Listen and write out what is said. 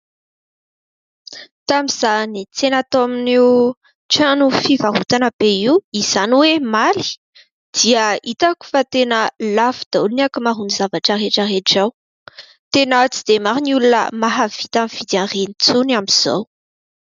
Tamin'izaho niantsena tao amin'io trano fivarotana be io, izany hoe omaly, dia hitako fa tena lafo daholo ny ankamaroan'ny zavatra rehetrarehetra ao. Tena tsy dia maro ny olona mahavita mividy an'ireny intsony amin'izao.